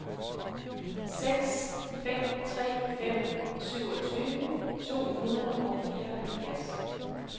seks fem tre fem syvogtyve to hundrede og fireoghalvfjerds